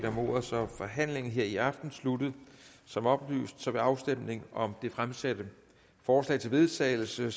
om ordet og så er forhandlingen her i aften sluttet som oplyst vil afstemningen om det fremsatte forslag til vedtagelse